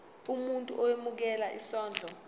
umuntu owemukela isondlo